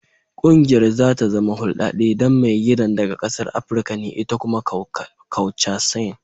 Kungiyar za ta zama huldade dan maigidan daga kasan Africa ne ita kuma Kaucasian.